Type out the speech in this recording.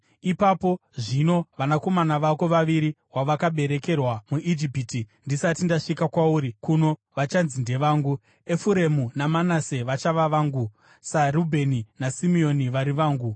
“Ipapo zvino, vanakomana vako vaviri vawakaberekerwa muIjipiti ndisati ndasvika kwauri kuno vachanzi ndevangu; Efuremu naManase vachava vangu, saRubheni naSimeoni vari vangu.